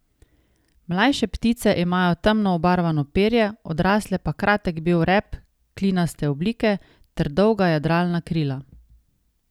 Mlajše ptice imajo temno obarvano perje, odrasle pa kratek bel rep klinaste oblike ter dolga jadralna krila.